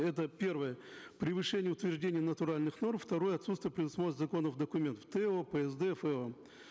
это первое превышение утверждения натуральных норм второе отсутствие при досмотре законных документов то псд фо